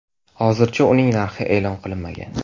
Hozircha uning narxi e’lon qilinmagan.